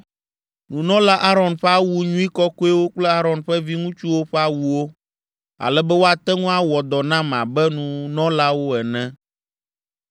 Nunɔla Aron ƒe awu nyui kɔkɔewo kple Aron ƒe viŋutsuwo ƒe awuwo, ale be woate ŋu awɔ dɔ nam abe nunɔlawo ene,